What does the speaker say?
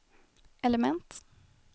element